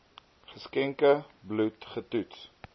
geskenkte bloed getoets